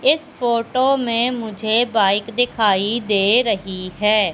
इस फोटो में मुझे बाइक दिखाई दे रही है।